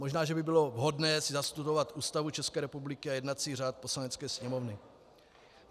Možná že by bylo vhodné si nastudovat Ústavu České republiky a jednací řád Poslanecké sněmovny.